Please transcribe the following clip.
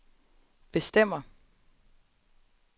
bestemmer